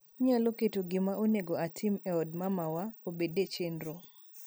Inyilo keto gima oego otim e od mamawa obed e chenro